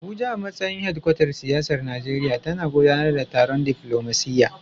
Abuja, a matsayin hedkwatar siyasar Najeriya, tana gudanar da taron diflomasiyya.